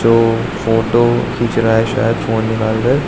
जो फोटो खींच रहा है शायद फोन निकल के।